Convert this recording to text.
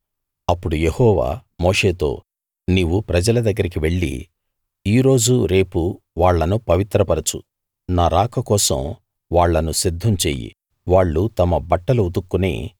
అప్పుడు యెహోవా మోషేతో నీవు ప్రజల దగ్గరికి వెళ్లి ఈ రోజూ రేపూ వాళ్ళను పవిత్రపరచు నా రాక కోసం వాళ్ళు సిద్ధం చెయ్యి వాళ్ళు తమ బట్టలు ఉతుక్కుని